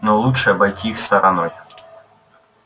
но лучше обойти их стороной